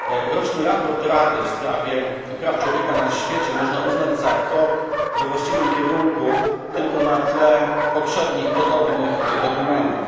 Roczny raport Rady w sprawie praw człowieka na świecie można uznać za krok we właściwym kierunku tylko na tle poprzednich podobnych dokumentów.